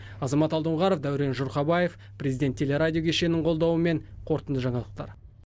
азамат алдоңғаров дәурен жұрхабаев президент телерадио кешенінің қолдауымен қорытынды жаңалықтар